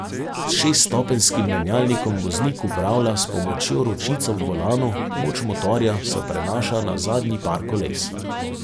S šeststopenjskim menjalnikom voznik upravlja s pomočjo ročic ob volanu, moč motorja se prenaša na zadnji par koles.